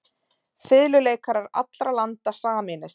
Fiðluleikarar allra landa sameinist.